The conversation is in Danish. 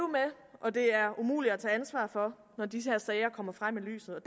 og det er umuligt at tage ansvar for når disse sager kommer frem i lyset